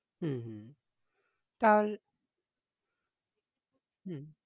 হম তাহলে হম